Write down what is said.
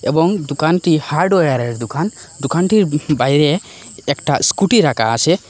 এবং দুকানটি হার্ডওয়্যারের দুকান দুকানটির বাইরে একটা স্কুটি রাকা আসে ।